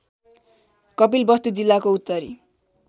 कपिलवस्तु जिल्लाको उत्तरी